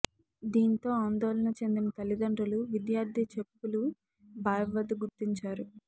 దీంతో ఆందోళన చెందిన తల్లిదండ్రులు విద్యార్థి చెప్పులు బావి వద్ద గుర్తించారు